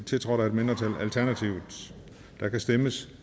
tiltrådt af et mindretal der kan stemmes